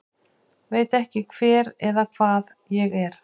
Veit ekki hver eða hvað ég er